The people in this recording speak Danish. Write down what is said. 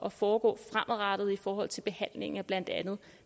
at foregå fremadrettet i forhold til behandlingen af blandt andet